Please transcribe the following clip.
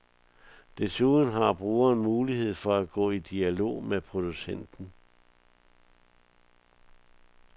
Desuden har brugeren mulighed for at gå i dialog med producenten.